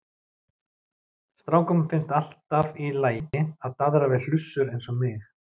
Strákum finnst alltaf í lagi að daðra við hlussur eins og mig.